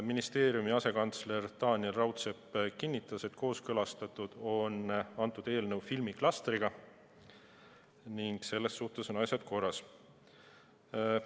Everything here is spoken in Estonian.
Ministeeriumi asekantsler Taaniel Raudsepp kinnitas, et eelnõu on kooskõlastatud filmiklastriga ning selles suhtes on asjad korras.